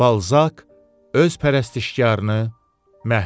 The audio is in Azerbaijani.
Balzak öz pərəstişkarını məhv elədi.